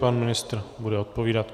Pan ministr bude odpovídat.